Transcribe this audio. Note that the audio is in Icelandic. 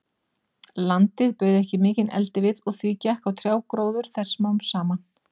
Landið bauð ekki mikinn eldivið, og því gekk á trjágróður þess smám saman.